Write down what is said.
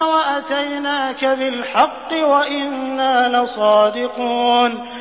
وَأَتَيْنَاكَ بِالْحَقِّ وَإِنَّا لَصَادِقُونَ